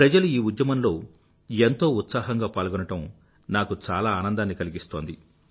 ప్రజలు ఈ ఉద్యమంలో ఎంతో ఉత్సాహంగా పాల్గొనడం నాకు చాలా ఆనందాన్ని కలిగిస్తోంది